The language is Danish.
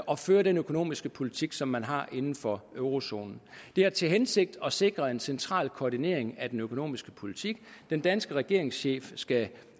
og fører den økonomiske politik som man har inden for eurozonen det har til hensigt at sikre en central koordinering af den økonomiske politik den danske regeringschef skal